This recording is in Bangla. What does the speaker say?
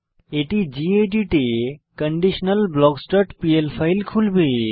এটি গেদিত এ conditionalblocksপিএল ফাইল খুলবে